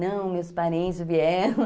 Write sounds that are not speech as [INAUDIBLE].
Não, meus parentes vieram [LAUGHS]